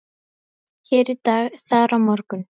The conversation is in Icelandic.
Hér í dag, þar á morgun.